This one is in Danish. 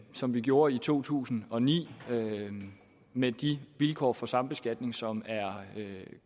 som vi gjorde i to tusind og ni med de vilkår for sambeskatning som er